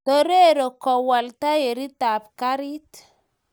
Torero kowal tairit tab karit